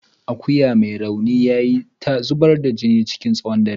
Akuyan mai rauni yayi ta zubar jini chikin tsawon dare.